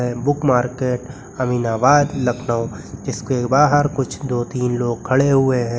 Book market Aminabad Lucknow जिसके बाहर कुछ दो तीन लोग खड़े हुए हैं।